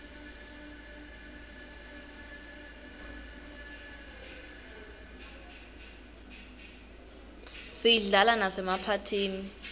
siyislala masemaphathini